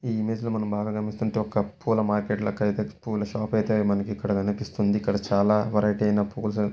ఈ ఇమేజ్లో మనం బాగా గమనిస్తుంటే ఒక పూల మార్కెట్ లెక్క అయితే పూల షాప్ ఐతే మనకి ఇక్కడ కనిపిస్తుంది. ఇక్కడ చాలా వెరైటీ అయినా పుల--